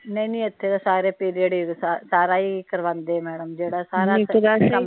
ਨਹੀਂ ਨਹੀਂ ਇਥੇ ਤਾ ਸਾਰੇ ਪੀਰੀਅਡ ਸਾਰਾ ਈ ਕਰਵਾਉਂਦੇ ਮੈਡਮ ਜਿਹੜਾ ਸਾਰਾ